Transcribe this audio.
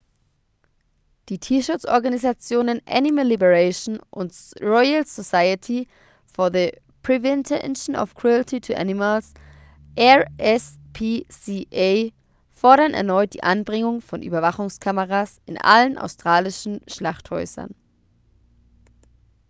die tierschutzorganisationen animal liberation und royal society for the prevention of cruelty to animals rspca fordern erneut die anbringung von überwachungskameras in allen australischen schlachthäusern